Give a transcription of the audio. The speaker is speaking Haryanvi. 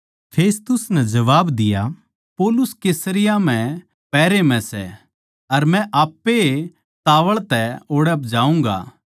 फेस्तुस नै जबाब दिया पौलुस कैसरिया म्ह पहरे म्ह सै अर मै आप्पे ए तावळ तै ओड़ै जाऊँगा